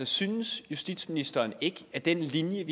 synes justitsministeren ikke at den linje